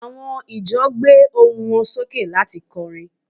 àwọn ìjọ gbohun wan soke lati kọrin